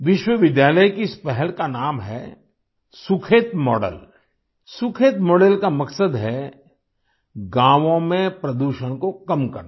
विश्वविद्यालय की इस पहल का नाम है सुखेत मॉडल सुखेत मॉडल का मकसद है गाँवों में प्रदूषण को कम करना